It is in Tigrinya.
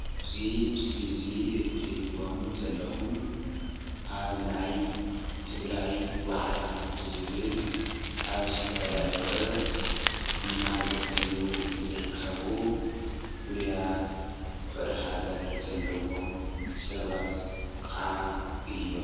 እዚ ምስሊ እዚ እትሪእዎም ዘለኩም ኣብ ናይ ትግራይ ዋዕላ ብዝብል ኣብ ዝተዳለወ እናዘተዩ ዝርከቡ ፍሉያት ፍቕሪ ሃገር ዘለዎም ሰባት ከዓ እዮም።